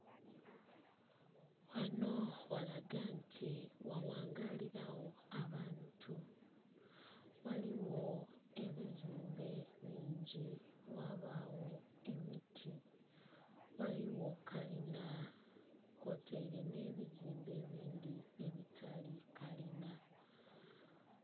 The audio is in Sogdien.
Gghanho ghalaga nti ghaghangaalilagho abantu, ghaligho ebizimbe bingi ghabaagho emiti, ghaligho kalinha kwotaile nhe bizimbe ebindhi ebitali kalinha.